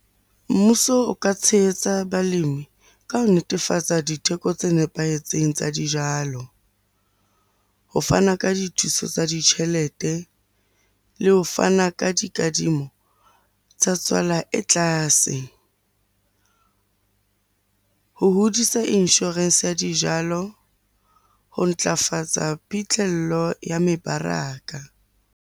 Mmuso o ka tshehetsa balimi ka ho netefatsa ditheko tse nepahetseng tsa dijalo. Ho fana ka dithuso tsa ditjhelete, le ho fana ka dikadimo ho tsa tswala e tlase. Ho hodisa insurance ya dijalo ho ntlafatsa phitlhello ya mebaraka.